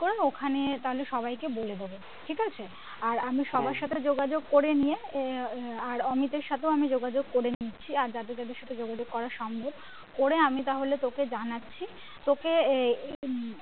করে না ওখানে তাহলে সবাইকে বলে দিবো ঠিকাছে আর আমি সবার সাথে যোগাযোগ করে নিয়ে আর অমিতের সাথেও আমি যোগাযোগ করে নিচ্ছি আর যাদের যাদের সঙ্গে যোগাযোগ করা সম্ভব করে আমি তাহলে তোকে জানাচ্ছি তোকে এই